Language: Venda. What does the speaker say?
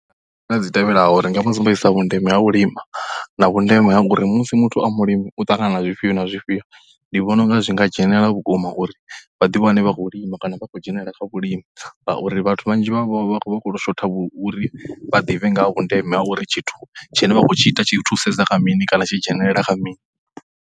Nḓila dzi tevhelaho, ndi nga mu sumbedzisa vhundeme ha vhulimi na vhundeme ha uri musi muthu a mulimi u ṱangana na zwifhio na zwifhio. Ndi vhona u nga zwi nga dzhenela vhukuma kha uri vha ḓiwane vha khou lima kana vha ḓiwane vha khou dzhenelela kha vhulimi ngauri vhathu vhanzhi vha vha vha khou tou shotha uri vha ḓivhe nga ha vhundeme ha uri tshithu tshine vha khou tshi ita tshi thusedza kha mini kana tshi dzhenelela kha mini.